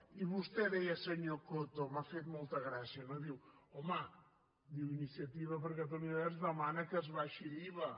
i vostè deia senyor coto m’ha fet molta gràcia no diu home iniciativa per catalunya verds demana que s’abaixi l’iva